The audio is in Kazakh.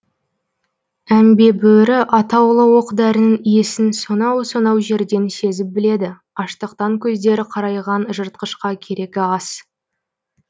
әмбе бөрі атаулы оқ дәрінің иісін сонау сонау жерден сезіп біледі аштықтан көздері қарайған жыртқышқа керегі ас